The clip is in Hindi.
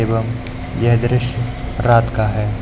एवं यह दृश्य रात का है।